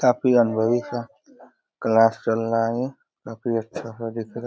काफी अनुभवी सा क्लास चल रहा है। काफी अच्छा दिख --